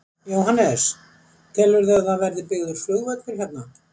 Jóhannes: Telurðu að það verði byggður flugvöllur hérna?